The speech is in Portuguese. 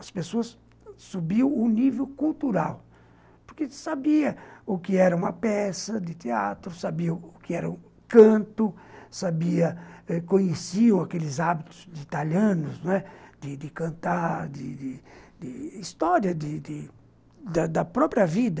As pessoas subiam o nível cultural, porque sabiam o que era uma peça de teatro, sabiam o que era um canto, sabia, conheciam aqueles hábitos de italianos, não é, de cantar, de história, da própria vida.